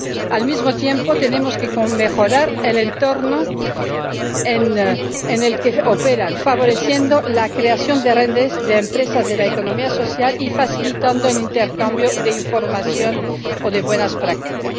Al mismo tiempo, tenemos que mejorar el entorno en el que operan, favoreciendo la creación de redes de empresas de la economía social y facilitando el intercambio de información o de buenas prácticas.